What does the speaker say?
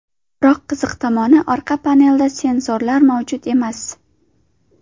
Biroq qiziq tomoni orqa panelida sensorlar mavjud emas.